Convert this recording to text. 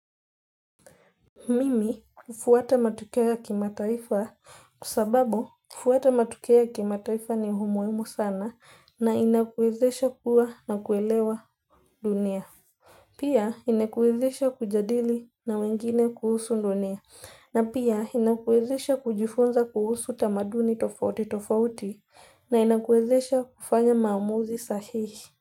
Mimi hufuata matukio kimataifa kwa sababu kufuata matukio kimataifa ni muhimu sana na kunakuwezesha kuwa na kuelewa dunia. Pia inakuwezesha kujadili na wengine kuhusu dunia na pia inakuwezesha kujifunza kuhusu tamaduni tofauti tofauti na inakuwezesha kufanya maamuzi sahihi.